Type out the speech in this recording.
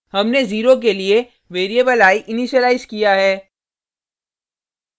हमने 0 के लिए वेरिएबल i इनीशिलाइज किया है